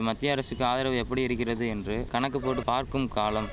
மத்திய அரசுக்கு ஆதரவு எப்படியிருக்கிறது என்று கணக்கு போட்டு பார்க்கும் காலம்